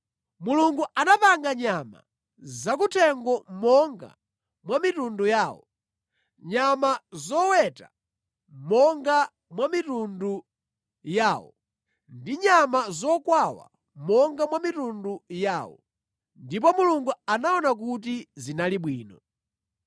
Mulungu anapanga nyama zakuthengo monga mwa mitundu yawo, nyama zoweta monga mwa mitundu yawo ndi nyama zokwawa monga mwa mitundu yawo. Ndipo Mulungu anaona kuti zinali bwino.